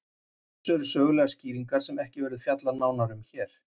Á þessu eru sögulegar skýringar sem ekki verður fjallað nánar um hér.